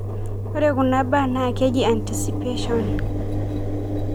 Ore kunabaa na keji anticipation.